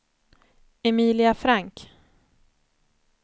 Emilia Frank